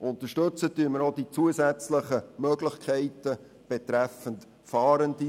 Wir unterstützen weiter die zusätzlichen Möglichkeiten betreffend Fahrende.